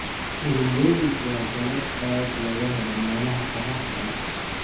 Turmeric waa dalag aad looga helo meelaha qoraxda leh.